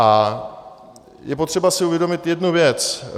A je potřeba si uvědomit jednu věc.